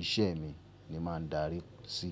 ìṣe mi ni màá ń darí sí.